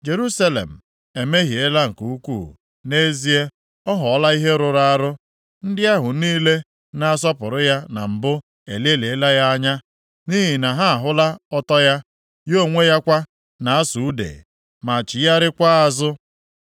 Jerusalem emehiela nke ukwu, nʼezie, ọ ghọọla ihe rụrụ arụ. Ndị ahụ niile na-asọpụrụ ya na mbụ elelịala ya anya, nʼihi na ha ahụla ọtọ ya. Ya onwe ya kwa na-asụ ude, ma chigharịakwa azụ.